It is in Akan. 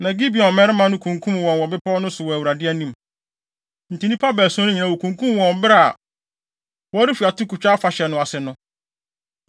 Na Gibeon mmarima no kunkum wɔn wɔ bepɔw no so wɔ Awurade anim. Enti nnipa baason no nyinaa, wokunkum wɔn wɔ bere a wɔrefi atokotwa afahyɛ no ase no.